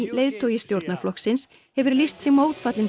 leiðtogi stjórnarflokksins hefur lýst sig mótfallinn